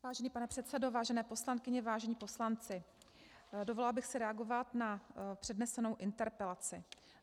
Vážený pane předsedo, vážené poslankyně, vážení poslanci, dovolila bych si reagovat na přednesenou interpelaci.